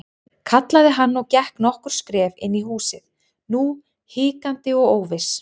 kallaði hann og gekk nokkur skref inn í húsið, nú hikandi og óviss.